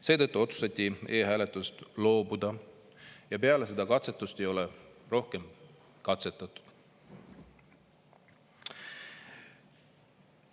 Seetõttu otsustati e-hääletusest loobuda ja peale seda katsetust ei ole rohkem katsetatud.